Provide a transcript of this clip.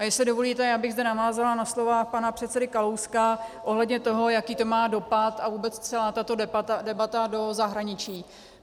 A jestli dovolíte, já bych zde navázala na slova pana předsedy Kalouska ohledně toho, jaký to má dopad, a vůbec celá tato debata, do zahraničí.